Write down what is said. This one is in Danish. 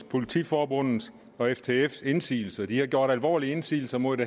politiforbundets og ftfs indsigelser de har gjort alvorlige indsigelser imod